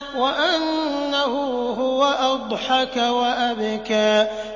وَأَنَّهُ هُوَ أَضْحَكَ وَأَبْكَىٰ